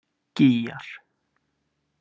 Gígjar